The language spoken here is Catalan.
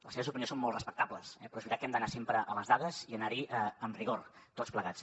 les seves opinions són molt respectables però és veritat que hem d’anar sempre a les dades i anar hi amb rigor tots plegats